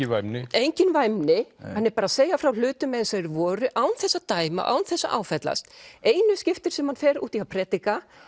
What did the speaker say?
engin væmni hann er bara að segja frá hlutum eins og þeir voru án þess að dæma án þess að áfellast einu skiptin sem hann fer út í að predika